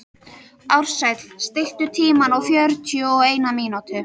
Ársæll, stilltu tímamælinn á fjörutíu og eina mínútur.